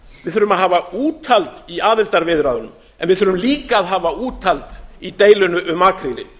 við þurfum að hafa úthald í aðildarviðræðunum en við þurfum líka að hafa úthald í deilunni um makrílinn